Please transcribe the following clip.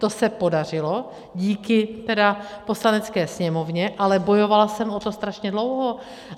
To se podařilo díky tedy Poslanecké sněmovně, ale bojovala jsem o to strašně dlouho.